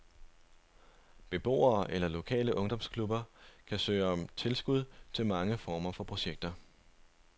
Beboere eller lokale ungdomsklubber kan søge om tilskud til mange former for projekter.